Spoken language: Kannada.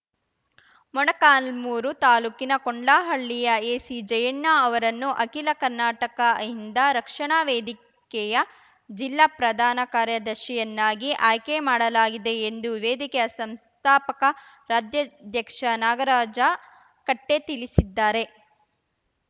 ಮೊಳಕಾಲ್ಮುರು ತಾಲೂಕಿನ ಕೊಂಡ್ಲಹಳ್ಳಿಯ ಎಸಿ ಜಯಣ್ಣ ಅವರನ್ನು ಅಖಿಲ ಕರ್ನಾಟಕ ಅಹಿಂದ ರಕ್ಷಣಾ ವೇದಿಕೆಯ ಜಿಲ್ಲಾ ಪ್ರಧಾನ ಕಾರ್ಯದರ್ಶಿಯನ್ನಾಗಿ ಆಯ್ಕೆ ಮಾಡಲಾಗಿದೆ ಎಂದು ವೇದಿಕೆಯ ಸಂಸ್ಥಾಪಕ ರಾಜ್ಯಾಧ್ಯಕ್ಷ ನಾಗರಾಜ ಕಟ್ಟೆತಿಳಿಸಿದ್ದಾರೆ